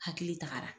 Hakili tagara